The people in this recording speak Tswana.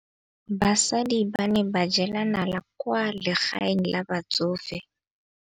Basadi ba ne ba jela nala kwaa legaeng la batsofe.